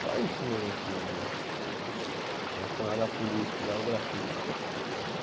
Só isso mesmo, assim de, relacionado à polícia e ao grafite.